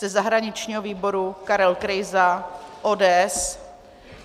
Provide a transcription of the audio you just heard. Ze zahraničního výboru Karel Krejza ODS.